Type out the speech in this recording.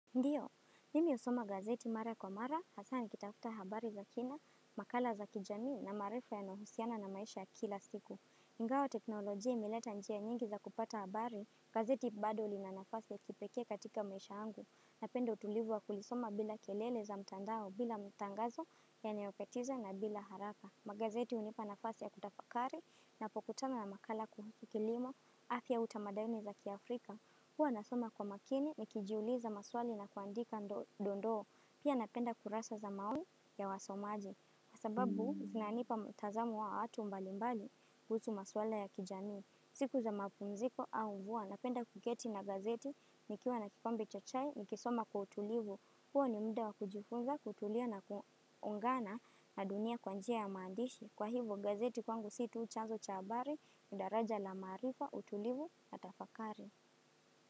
Ndiyo, nimi usoma gazeti mara kwa mara, hasa nikitafta habari za kina, makala za kijami na marifa ya nohusiana na maisha ya kila siku. Ingao teknoloji ya imileta njia nyingi za kupata habari, gazeti bado li na nafasi ya kipeke katika maisha yangu. Napendo utulivu wa kulisoma bila kelele za mtandao, bila mtangazo ya neopetiza na bila haraka. Magazeti unipa nafasi ya kutafakari na pokutana na makala kuhusu kilimo, afiya utamadayoni za kiafrika. Huwa nasoma kwa makini, nikijuuliza maswali na kuandika ndondoo, pia napenda kurasa za maoni ya wasomaji. Kwa sababu, zinanipa mtazamo wa watu mbalimbali, kuhusu maswali ya kijani. Siku za mapumziko au vua, napenda kuketi na gazeti, nikiuwa na kikombe cha chai, nikisoma kwa utulivu. Huwa ni mda wa kujifunza, kutulia na kuungana na dunia kwanjia ya maandishi. Kwa hivo, gazeti kwangu situ uchanzo chabari, ni daraja la marifa, utulivu, na tafakari.